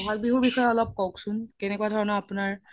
বহাগ বিহুৰ বিষয়ে কওক্চোন কেনেকুৱা ধৰণৰ আপোনাৰ